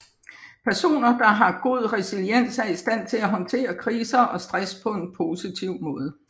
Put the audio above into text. Personer der har god resiliens er i stand til at håndtere kriser og stress på en positiv måde